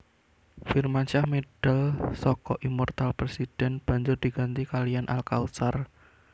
Firmansyah medal saka Immoortal President banjur diganti kaliyan Al Kautsar